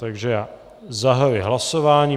Takže já zahajuji hlasování.